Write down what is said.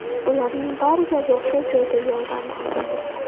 Ularning bariga voqea joyida yordam ko‘rsatildi.